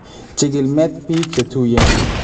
Chikil met biik chetuyeen